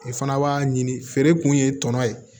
I fana b'a ɲini feere kun ye tɔnɔ ye